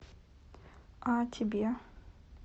а тебе